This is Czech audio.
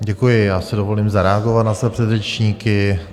Děkuji, já si dovolím zareagovat na své předřečníky.